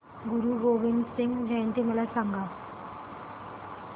गुरु गोविंद सिंग जयंती मला सांगा